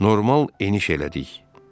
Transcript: Normal eniş elədik.